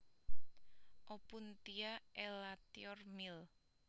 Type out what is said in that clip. Opuntia elatior Mill